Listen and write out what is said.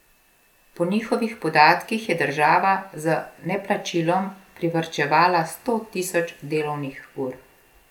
Po njihovih podatkih je država z neplačilom privarčevala sto tisoč delovnih ur.